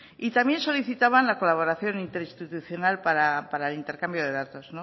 también solicitaban la colaboración interinstitucional para el intercambio de datos